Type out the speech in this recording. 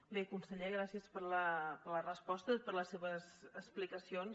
bé conseller gràcies per la resposta i per les seves explicacions